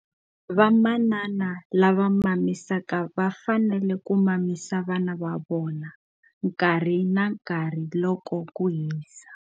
Vamanana lava mamisaka va fanele ku mamisa vana va vona nkarhi na nkarhi loko ku hisa.